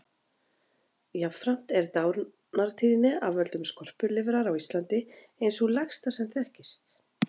Jafnframt er dánartíðni af völdum skorpulifrar á Íslandi ein sú lægsta sem þekkist.